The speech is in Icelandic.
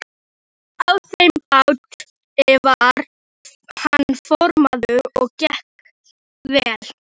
Nikulás, hver syngur þetta lag?